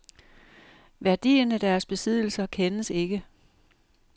Værdien af deres besiddelser kendes ikke.